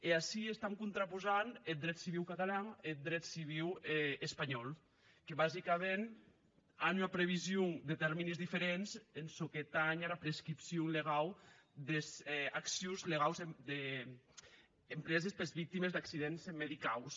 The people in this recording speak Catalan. e ací contraposam eth dret civiu catalan e eth dret civiu espanhòu que basicaments an ua prevision de tèrmes diferents en çò que tanh ara prescripcion legau des accions legaus empreses pes victimes d’accidents medicaus